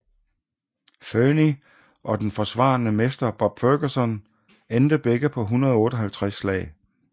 Fernie og den forsvarende mester Bob Ferguson endte begge på 158 slag